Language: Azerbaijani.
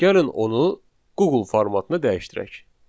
Gəlin onu Google formatına dəyişdirək.